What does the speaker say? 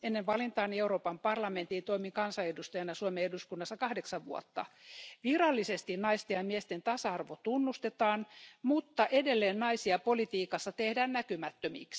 Ennen valintaani Euroopan parlamenttiin toimin kansanedustajana Suomen eduskunnassa kahdeksan vuotta. Virallisesti naisten ja miesten tasa arvo tunnustetaan, mutta edelleen naisista tehdään politiikassa näkymättömiä.